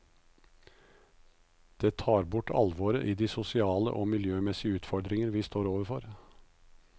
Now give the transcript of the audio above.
Det tar bort alvoret i de sosiale og miljømessige utfordringer vi står overfor.